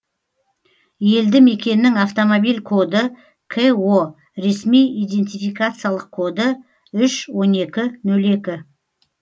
елді мекеннің автомобиль коды ко ресми идентификациялық коды үш он екі нөл екі